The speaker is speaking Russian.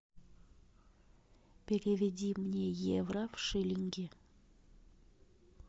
переведи мне евро в шиллинги